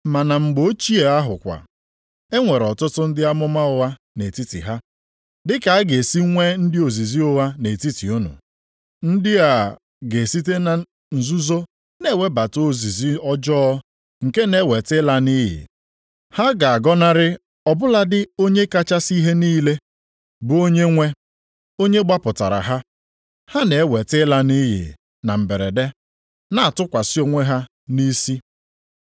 Ma na mgbe ochie ahụ kwa, e nwere ọtụtụ ndị amụma ụgha nʼetiti ha, dịka a ga-esi nwee ndị ozizi ụgha nʼetiti unu. Ndị a ga-esite na nzuzo na-ewebata ozizi ọjọọ nke na-eweta ịla nʼiyi, ha ga-agọnarị ọ bụladị onye kachasị ihe niile, bụ Onyenwe, onye gbapụtara ha. Ha na-eweta ịla nʼiyi na mberede, na-atụkwasị onwe ha nʼisi.